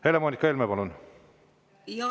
Helle-Moonika Helme, palun!